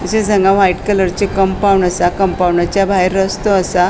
तशेच हांगा व्हाइट कलरचे कम्पाउन्ड असा कम्पाउन्डच्या भायर रस्तो असा.